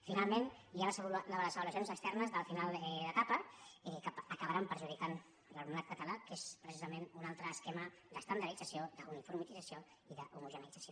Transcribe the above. finalment hi ha les avaluacions externes del final d’etapa que acabaran perjudicant l’alumnat català que és precisament un altre esquema d’estandardització d’uniformització i d’homogeneïtzació